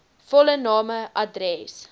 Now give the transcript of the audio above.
volle name adres